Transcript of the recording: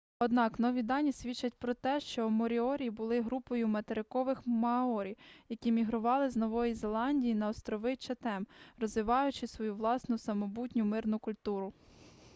однак нові дані свідчать про те що моріорі були групою материкових маорі які мігрували з нової зеландії на острови чатем розвиваючи свою власну самобутню мирну культуру